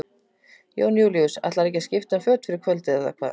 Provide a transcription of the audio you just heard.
Jón Júlíus: Ætlarðu að skipta um föt fyrir kvöldið eða hvað?